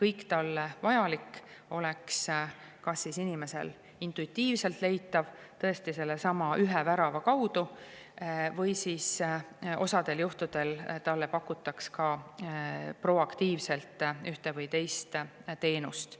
kõik talle vajalik oleks kas intuitiivselt leitav sellesama ühe värava kaudu või siis osal juhtudel talle pakutaks ka proaktiivselt ühte või teist teenust.